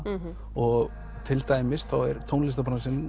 og til dæmis þá er